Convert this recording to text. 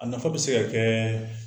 A nafa bi se ka kɛ